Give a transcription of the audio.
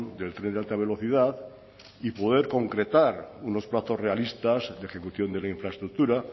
del tren de alta velocidad y poder concretar unos plazos realistas de ejecución de la infraestructura